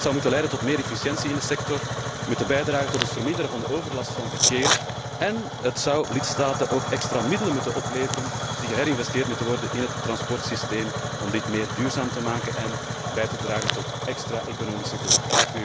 Dat zou moeten leiden tot meer efficiëntie in de sector, moeten bijdragen tot het verminderen van de overlast van verkeer en het zou lidstaten ook extra middelen moeten opleveren die geherinvesteerd moeten worden in het transportsysteem om dit meer duurzamer te maken en bij te dragen tot extra economische groei.